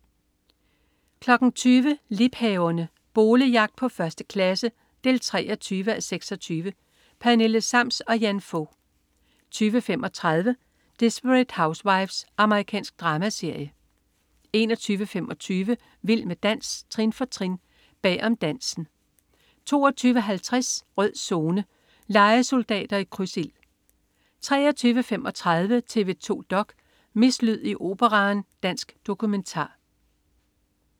20.00 Liebhaverne. Boligjagt på 1. klasse 23:26. Pernille Sams og Jan Fog 20.35 Desperate Housewives. Amerikansk dramaserie 21.25 Vild med dans, trin for trin. Bag om dansen 22.50 Rød Zone: Lejesoldater i krydsild 23.35 TV 2 dok.: Mislyd i Operaen. Dansk dokumentar